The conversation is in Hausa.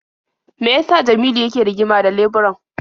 Me ya sa Jamilu yake rigima da leburan?